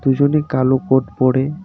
দুজনই কালো কোট পড়ে.